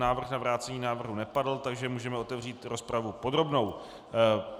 Návrh na vrácení návrhu nepadl, takže můžeme otevřít rozpravu podrobnou.